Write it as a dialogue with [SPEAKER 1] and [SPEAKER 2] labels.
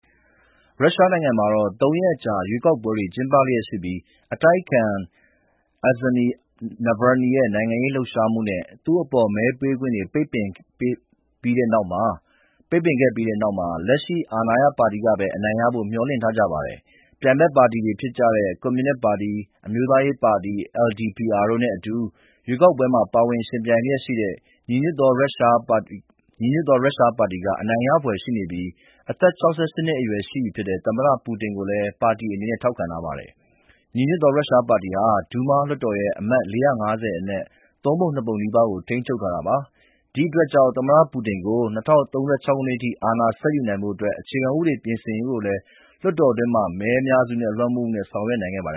[SPEAKER 1] ရုရှားနိုင်ငံမှာ သုံးရက်ကြာ လွှတ်တော်ရွေးကောက်ပွဲတွေ ကျင်းပလျက်ရှိပြီး အတိုက်အခံ Alexei Navalny ရဲ့ နိုင်ငံရေးလှုပ်ရှားမှုနဲ့ သူ့အပေါ်မဲပေးခွင့် ပိတ်ပင်ပြီးတဲ့နောက်မှာ လက်ရှိ အာဏာရပါတီကပဲ အနိုင်ရဖို့ မျှော်လင့်ထားကြပါတယ်။ ပြိုင်ဘက်ပါတီတွေဖြစ်တဲ့ ကွန်မြူနစ်ပါတီ၊ အမျိုးသားရေးပါတီ LDPR တို့နဲ့အတူ ရွေးကောက်ပွဲမှာ ပါဝင်ယှဉ်ပြိုင်လျက်ရှိတဲ့ ညီညွတ်သော ရုရှားပါတီက အနိုင်ရဖွယ်ရှိနေပြီး အသက် ၆၈ နှစ်အရွယ်ရှိပြီဖြစ်တဲ့ သမ္မတ ပူတင်ကိုလည်း ပါတီအနေနဲ့ ထောက်ခံထားပါတယ်။ ညီညွတ်သော ရုရှားပါတီဟာ ဒူးမားလွှတ်တော်ရဲ့ အမတ် ၄၅၀ အနက် သုံးပုံ နှစ်ပုံနီးပါးကို ထိန်းချုပ်ထားတာပါ။ ဒီအတွက်ကြောင့် သမ္မတပူတင်ကို ၂၀၃၆ ခုနှစ်အထိ အာဏာဆက်ယူနိုင်ဖို့ အခြေခံဥပဒေ ပြင်ဆင်ရေးကို လွှတ်တော်တွင်း အများစုလွှမ်းမိုးမှုနဲ့ ဆောင်ရွက်နိုင်ခဲ့ပါတ